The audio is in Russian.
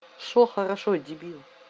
что хорошо дебил